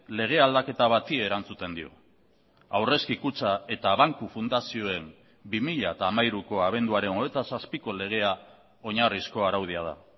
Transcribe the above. lege aldaketa bati erantzuten dio aurrezki kutxa eta banku fundazioen bi mila hamairuko abenduaren hogeita zazpiko legea oinarrizko araudia da